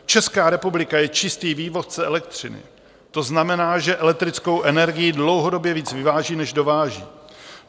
Česká republika je čistý vývozce elektřiny, to znamená, že elektrickou energii dlouhodobě víc vyváží než dováží.